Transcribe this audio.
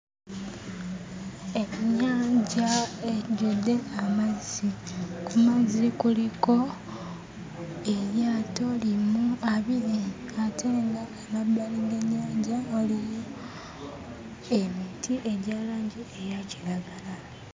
Ennyanja ejjudde amazzi. Ku mazzi kuliko eryato limu abiri ate ng'amabbali g'ennyanja waliyo emiti egya langi eya kiragala.